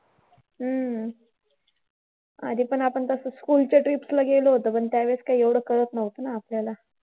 हम्म आधी पण आपण school च्या trip ला गेलो होतो पण त्यावेळेस कसं एवढं कळत नव्हतं ना आपल्याला.